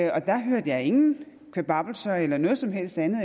og der hørte jeg ingen kvababbelser eller noget som helst andet